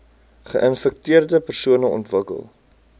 geinfekteerde persone ontwikkel